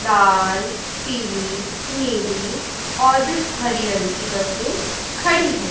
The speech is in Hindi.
लाल पीली नीली और भी हरी रंग की बसें खड़ी है।